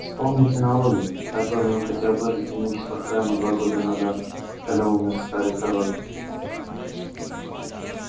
вспомните налоги которыми он хотел обложить имущество храма два года назад когда умер старый король